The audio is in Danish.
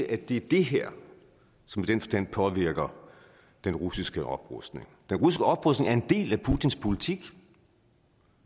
at det er det her som i den forstand påvirker den russiske oprustning den russiske oprustning er en del af putins politik